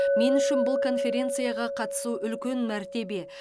мен үшін бұл конференцияға қатысу үлкен мәртебе